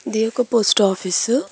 ఇది ఒక post office .